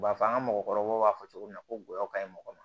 U b'a fɔ an ka mɔgɔkɔrɔbaw b'a fɔ cogo min na ko goyɔ kaɲi mɔgɔ ma